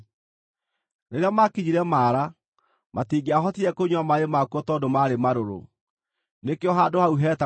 Rĩrĩa maakinyire Mara, matingĩahotire kũnyua maaĩ makuo tondũ maarĩ marũrũ. (Nĩkĩo handũ hau hetagwo Mara.)